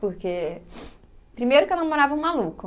Porque, primeiro que eu namorava um maluco.